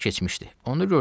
Bir az keçmişdi.